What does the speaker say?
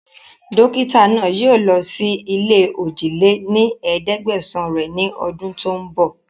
Dókítà náà yii o lọ síí ilé ojì lé ní ẹ̀ẹ́dẹ́gbẹ́sán rẹ ni ọdún tòun bọ̀